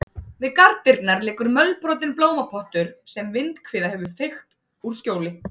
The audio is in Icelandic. Við garðdyrnar liggur mölbrotinn blómapottur sem vindhviða hefur feykt úr skjóli.